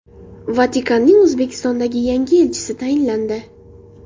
Vatikanning O‘zbekistondagi yangi elchisi tayinlandi.